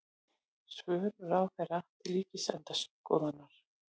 Svör ráðherra til Ríkisendurskoðunar